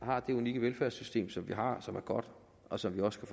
har det unikke velfærdssystem som vi har som er godt og som vi også